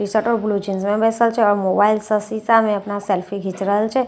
ई सटर blue jeans मे बैसल छे आओर मोबाइल स शीशा में अपन सेल्फी खींच रहल छे। आओर पीछा एक न--